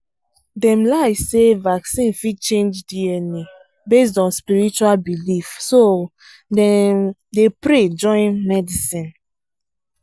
dem lie say vaccine fit change dna based on spiritual belief so dem dey pray join medicine